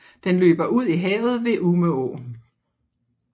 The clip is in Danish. Den løber ud i havet ved Umeå